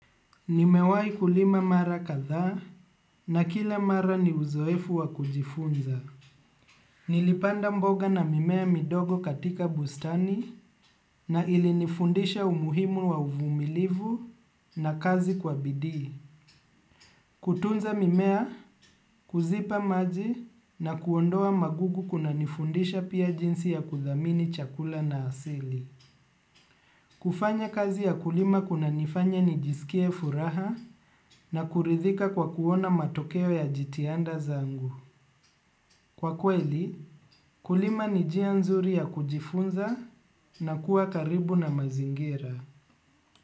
Nimewai kulima mara katha na kila mara ni uzoefu wa kujifunza. Nilipanda mboga na mimea midogo katika bustani na ilinifundisha umuhimu wa uvumilivu na kazi kwa bidii. Kutunza mimea, kuzipa maji na kuondoa magugu kuna nifundisha pia jinsi ya kuthamini chakula na asili. Kufanya kazi ya kulima kuna nifanya nijisikie furaha na kuridhika kwa kuona matokeo ya jitihanda zangu. Kwa kweli, kulima ni njia nzuri ya kujifunza na kuwa karibu na mazingira.